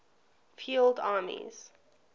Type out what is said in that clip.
field armies